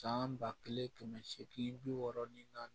San ba kelen kɛmɛ seegin bi wɔɔrɔ nin na